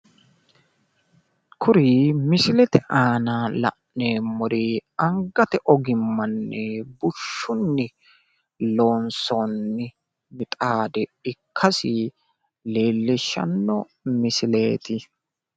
kuri misilete aana la'neemmori angate ogimmanni bushshunni loonsoonni mixaade ikkase leellishshanno misileeti.